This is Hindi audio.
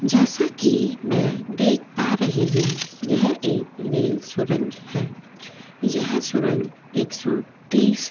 जैसा कि मैं देख पा रही हूं यह एक रेल सुरंग है यह सुरंग --